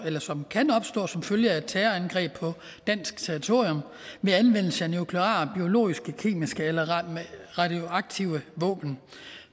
som kan opstå som følge af et terrorangreb på dansk territorium ved anvendelse af nukleare biologiske kemiske eller radioaktive våben